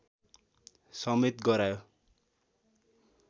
समेत गरायो